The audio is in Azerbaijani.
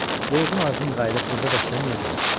Yorğun arğın qayıdıb burda da işləməyəcəm ki.